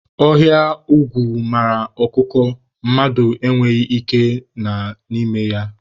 Ọhịa ogwu mara ọkụkọ, mmadụ e nweghị ike na n'ime ya.